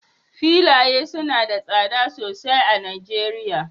filaye suna da tsada sosai a Najeriya